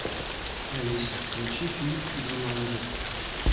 алиса включи фильм джуманджи